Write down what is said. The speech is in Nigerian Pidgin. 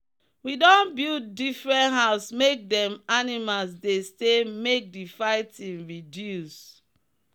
we don build differnt house make them animals dey stay make the fighting reduce.